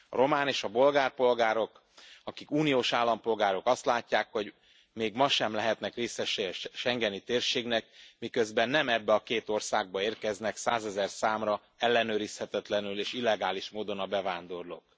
A román és bolgár polgárok akik uniós állampolgárok azt látják, hogy még ma sem lehetnek részesei a schengeni térségnek, miközben nem ebbe a két országba érkeznek százezerszámra ellenőrizhetetlenül és illegális módon a bevándorlók.